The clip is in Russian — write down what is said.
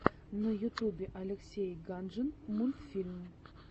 на ютубе алексей ганжин мультфильм